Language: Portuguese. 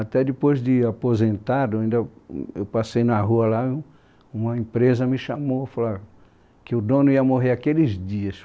Até depois de aposentado, eu passei na rua lá, uma empresa me chamou e falou ó , que o dono ia morrer aqueles dias.